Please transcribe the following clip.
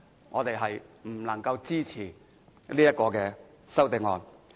我們不能支持這項修正案。